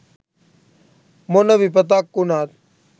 මොන විපතක් උනත්